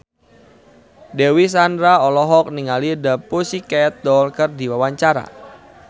Dewi Sandra olohok ningali The Pussycat Dolls keur diwawancara